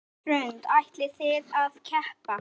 Hrund: Ætlið þið að keppa?